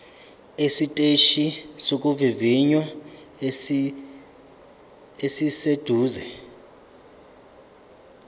esiteshini sokuvivinya esiseduze